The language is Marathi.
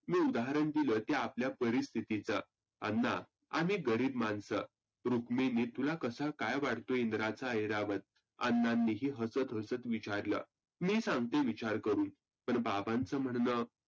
मी उदाहरण दिलं आपल्या परिस्थितीचं. अण्णा आम्ही गरीब माणसं. रिक्मिनी तुला कसा वाटतो इंद्राचा ऐरावत? अण्णांनी ही हसत हसत विचारलं. मी सांगते विचार करूण पण बाबांच म्हणनं